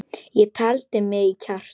Ég taldi í mig kjark.